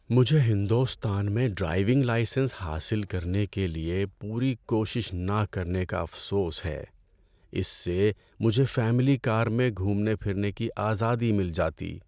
مجھے ہندوستان میں driving licence حاصل کرنے کے لیے پوری کوشش نہ کرنے کا افسوس ہے۔ اس سے مجھے فیملی کار میں گھومنے پھرنے کی آزادی مل جاتی۔